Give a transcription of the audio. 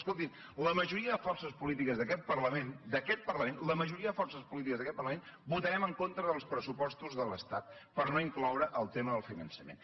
escoltin la majoria de forces polítiques d’aquest parlament d’aquest parlament la majoria de forces polítiques d’aquest parlament votarem en contra dels pressupostos de l’estat per no incloure el tema del finançament